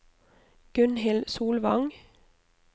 Gunnhild Solvang